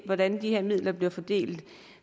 hvordan de her midler bliver fordelt